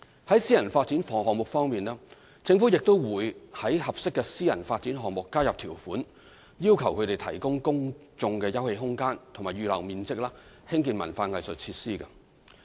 在私人發展項目方面，政府也會在合適的私人發展項目加入條款，要求它們提供公眾休憩空間或預留面積興建文化藝術設施。